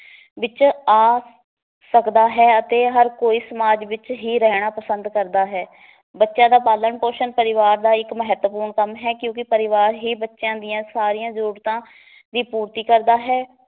ਵਿਚ ਆ ਸਕਦਾ ਹੈ ਅਤੇ ਹਰ ਕੋਈ ਸਮਾਜ ਵਿਚ ਹੀ ਰਹਿਣਾ ਪਸੰਦ ਕਰਦਾ ਹੈ ਬੱਚਿਆਂ ਦਾ ਪਾਲਣ ਪੋਸ਼ਣ ਪਰਿਵਾਰ ਦਾ ਇੱਕ ਮਹੱਤਵਪੂਰਨ ਕੰਮ ਹੈ ਕਿਉਂਕਿ ਪਰਿਵਾਰ ਹੀ ਬੱਚਿਆਂ ਦੀਆਂ ਸਾਰੀਆਂ ਜਰੂਰਤਾਂ ਦੀ ਪੂਰਤੀ ਕਰਦਾ ਹੈ